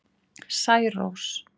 Særós